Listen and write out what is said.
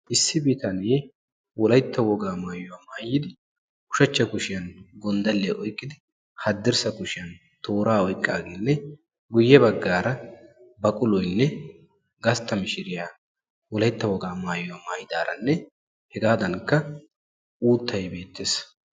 Issi bitanee wolaytta woga maayyuwaa maayyidi ushshachcha kushiyaan gonddaliya oyqqidi haddirsss kushiyaan toora oyqqaagenne guyye baggaara baquloynne gastta mishiriyaa wolaytta wogaa maatyuwa maaytidaara hegadankka uuttay beettees.